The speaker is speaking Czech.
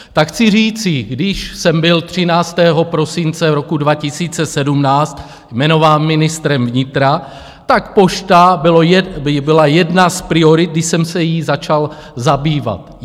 Tak chci říci, když jsem byl 13. prosince roku 2017 jmenován ministrem vnitra, tak Pošta byla jedna z priorit, když jsem se jí začal zabývat.